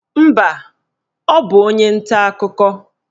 Mba, ọ bụ onye nta akụkọ.